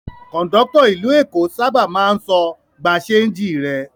Kọ̀ńdọ́tọ̀ ìlú Èkó sábà máa ń sọ "gba ṣéńjì rẹ".